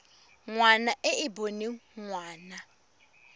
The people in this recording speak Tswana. ngwana e e boneng ngwana